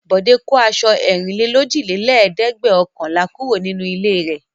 Bọ̀dé kó aṣọ ẹ̀rìnlélójìlẹ́ẹ̀dẹ́gbẹ̀ọ̀kànlá kúrò nínú ilé rẹ̀.